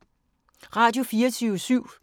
Radio24syv